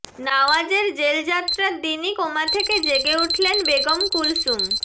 নাওয়াজের জেলযাত্রার দিনই কোমা থেকে জেগে উঠলেন বেগম কুলসুম